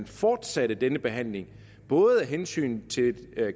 fortsatte denne behandling både af hensyn til